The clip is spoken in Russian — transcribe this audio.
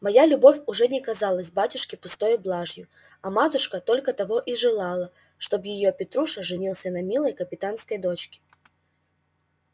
моя любовь уже не казалась батюшке пустою блажью а матушка только того и желала чтоб её петруша женился на милой капитанской дочке